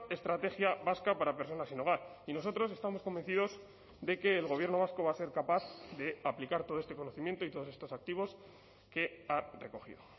estrategia vasca para personas sin hogar y nosotros estamos convencidos de que el gobierno vasco va a ser capaz de aplicar todo este conocimiento y todos estos activos que ha recogido